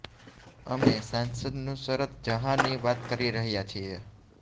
અમે સાંસદ નુસરત ઝહા ની વાત કરી રહ્યા છીએ